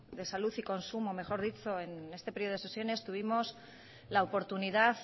de salud y consumo en este periodo de sesiones tuvimos la oportunidad